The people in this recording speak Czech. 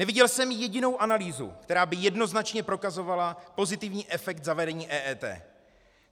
Neviděl jsem jedinou analýzu, která by jednoznačně prokazovala pozitivní efekt zavedení EET.